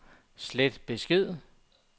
slet besked